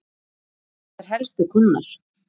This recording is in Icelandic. Hverjir eru ykkar helstu kúnnar?